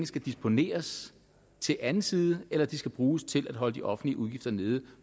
skal disponeres til anden side eller om de skal bruges til at holde de offentlige udgifter nede